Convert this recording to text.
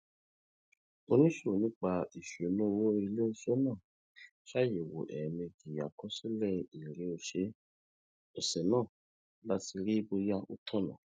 onímò nípa ìṣúnná owó ilé iṣé náà ṣàyèwò èèmejì àkọsílè èrè òsè náà láti rí i bóyá ó tònà